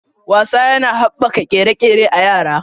Wasa yana haɓaka ƙere-ƙere a yara.